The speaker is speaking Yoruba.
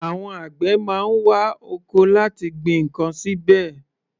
Àwọn àgbẹ̀ má ń wa oko láti gbin ǹkan síbẹ̀.